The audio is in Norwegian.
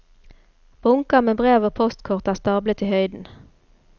Bunker med brev og postkort er stablet i høyden.